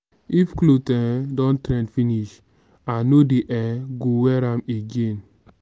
if clothe um don trend finish i no um go wear am again.